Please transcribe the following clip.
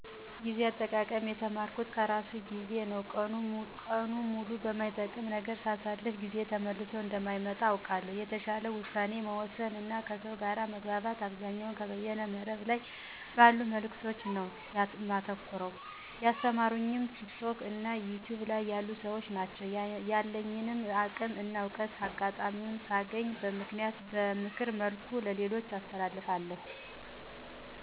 ጊዜ አጠቃቀም የተማርኩት ከራሱ ከ ጊዜ ነው። ቀኑን ሙሉ በማይጠቅም ነገር ሳሳልፍ ያ ጊዜ ተመልሶ እንደማይመጣ አውቀዋለሁ። የተሻለ ውሳኔ መወሰን እና ከሰው ጋር መግባባት አብዛኛውን ከበይነ መረብ ላይ ባሉ መልዕክቶች ነው የተማርኩት። ያስተማሩኝም ቲክቶክ እና ዩቱይብ ላይ ያሉ ሰዎች ናቸው። ያለኝን አቅም እና እውቀት አጋጣሚውን ሳገኝ በምክር መልኩ ለሌሎች አስተላልፋለሁ።